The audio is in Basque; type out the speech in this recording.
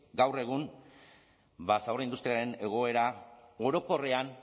gaur egun ba zabor industrialaren egoera orokorrean